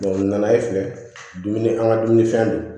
u nana e fɛ dumuni an ka dumunifɛn don